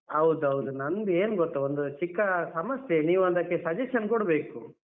ಹೌದೌದು ನಂದು ಏನ್ ಗೊತ್ತ ಒಂದು ಚಿಕ್ಕ ಸಮಸ್ಯೆ ನೀವು ಅದಕ್ಕೆ suggestion ಕೊಡ್ಬೇಕು.